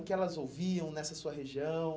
O que elas ouviam nessa sua região?